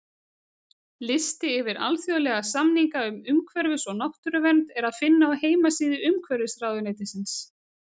Lista yfir alþjóðlega samninga um umhverfis- og náttúruvernd er að finna á heimasíðu Umhverfisráðuneytisins.